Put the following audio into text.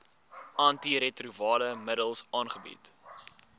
antiretrovirale middels aangebied